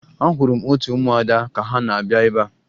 Ahụrụ m otu ụmụada ka ha na-abịa ebea